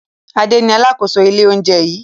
Ade ni alákòóso ilé-oúnjẹ yìí.